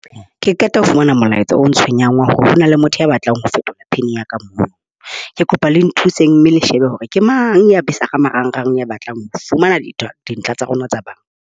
Ke qeta ho fumana molaetsa o ntshwenyang wa hore ho na le motho ya batlang ho fetola pin ya ka moo. Ke kopa le nthuseng mme le shebe hore ke mang. A atisa ho marangrang a batlang ho fumana dintlha tsa rona tsa Ba bang .